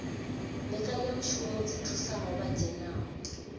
mbekanyamushumo dzi thusaho vha dzhenaho